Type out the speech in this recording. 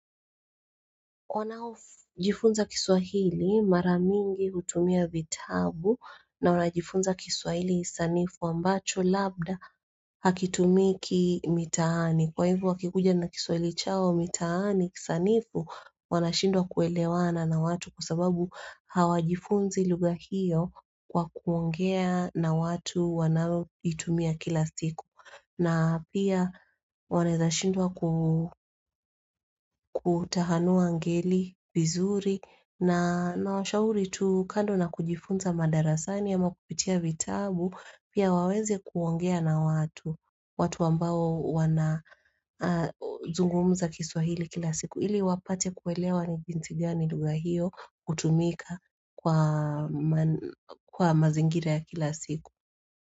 Wanajifunza kiswahili maramingi kutumia vitabu na wanajifunza kiswahili sanifu ambacho labda hakitumiki mitaani Kwa hivu wakikuja na kiswahili chao mitaani sanifu wanashindwa kuelewana na watu kusababu hawajifunzi luga hiyo kwa kuongea na watu wanavutumia kila siku na pia wanaeza shindwa kutahanua ngeli, vizuri na nawashauri tu kando na kujifunza madarasani ama kupitia vitabu Pia waweze kuongea na watu, watu ambao wana zungumza kiswahili kila siku Ili wapate kuwelewa ni jinsi gani lugha hiyo kutumika kwa mazingira ya kila siku.